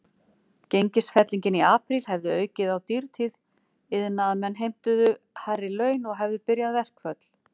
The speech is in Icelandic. Gengisfellingin í apríl hefði aukið á dýrtíð, iðnaðarmenn heimtuðu hærri laun og hefðu byrjað verkföll.